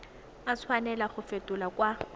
a tshwanela go fetolwa kwa